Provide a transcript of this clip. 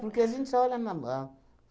Porque a gente olha na mão.